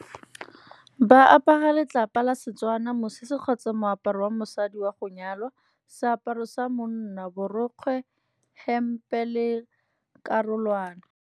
Ba apara letlapa la Setswana mosese kgotsa moaparo wa mosadi wa go nyalwa, seaparo sa monna borokgwe hempe le karolwana.